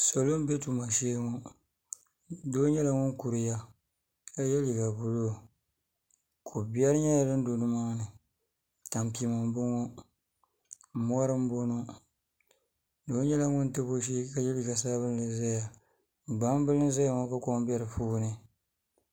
Salo n bɛ tuma shee ŋo doo nyɛla ŋun kuriya ka yɛ liiga buluu kobiɛri nyɛla din do nimaani tampima n boŋo mori n boŋo doo nyɛla ŋun tabi o shee yɛ liiga sabinli ʒɛya gbambili n boŋo ka kom bɛ di puuni